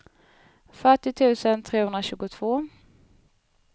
fyrtio tusen trehundratjugotvå